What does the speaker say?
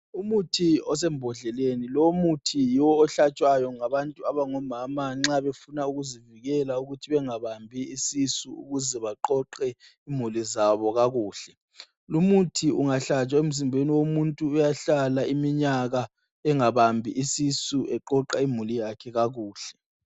Umuthi osembodleleni, lowu muthi yiwo ohlatshwayo ngabantu abangomama nxa befuna ukuzivikela ukuthi bengabambi isisu ukuze baqoqe imuli zabo kakuhle, lumuthi ungahlatshwa emzimbeni womuntu uyahlala iminyaka engabambi isisu eqoqa imuli yakhe kakuhle.